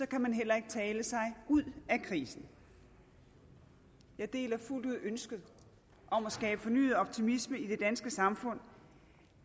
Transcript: kan man heller ikke tale sig ud af krisen jeg deler fuldt ud ønsket om at skabe fornyet optimisme i det danske samfund